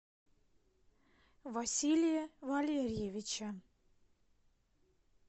василия валерьевича